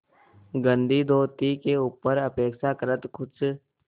गंदी धोती के ऊपर अपेक्षाकृत कुछ